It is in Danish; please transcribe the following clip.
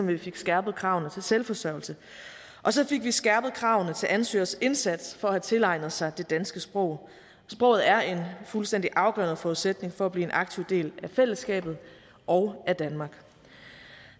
vi fik skærpet kravene til selvforsørgelse og så fik vi skærpet kravene til ansøgers indsats for at have tilegnet sig det danske sprog sproget er en fuldstændig afgørende forudsætning for at blive en aktiv del af fællesskabet og danmark